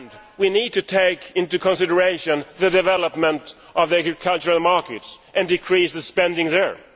We need to take into consideration the development of the agricultural markets and decrease the spending there.